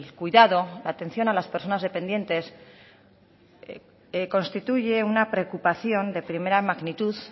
cuidado la atención a las personas dependientes constituye una preocupación de primera magnitud